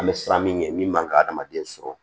An bɛ siran min ɲɛ min man ka hadamaden sɔrɔ